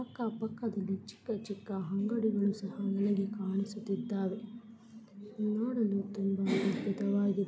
ಅಕ್ಕಾ ಪಕ್ಕದಲ್ಲಿ ಚಿಕ್ಕ ಚಿಕ್ಕ ಅಂಗಡಿಗಳು ಸಹ ಒಳಗೆ ಕಾಣಿಸುತ್ತಿದ್ದಾವೆ ನೋಡಲು ತುಂಬಾ ಅದ್ಬುತವಾಗಿದೆ.